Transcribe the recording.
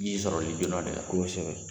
Ii ye sɔrɔli joona de ye kosɛbɛ.